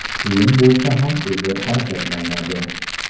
Qiyin bo‘lsa ham o‘zi harakatlanadi.